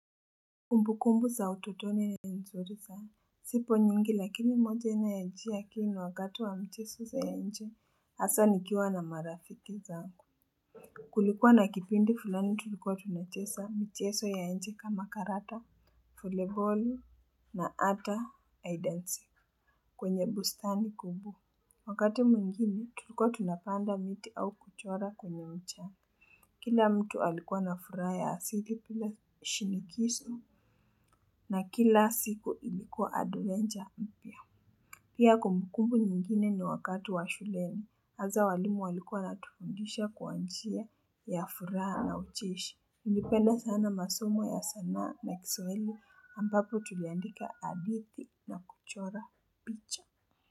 Kumbukumbu za utotoni ni nzuri sana. Zipo nyingi lakini moja inayonijia akilini wakati wa mchezo za nje, hasa nikiwa na marafiki zangu. Kulikuwa na kipindi fulani tulikuwa tunacheza mchezo ya nje kama karata, 'voleyball' na hata 'hide and seek' kwenye bustani kubwa. Wakati mwingine, tulikuwa tunapanda miti au kuchora kwenye mchanga. Kila mtu alikuwa na furaha ya asili pia shirikishi na kila siku ilikuwa 'adventure' mpya. Pia kumbukumbu nyingine ni wakati wa shuleni. Hasa walimu walikuwa wanatufundisha kwa njia ya furaha na ucheshi. Niliipenda sana masomo ya sanaa na kiswahili ambapo tuliandika hadithi na kuchora picha.